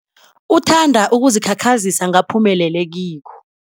Uthanda ukuzikhakhazisa ngaphumelele kikho.